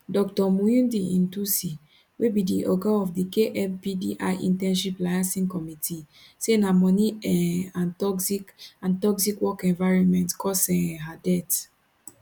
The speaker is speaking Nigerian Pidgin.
dr muinde nthusi wey be di oga of di kmpdi internship liason committee say na money um and toxic and toxic work environment cause um her death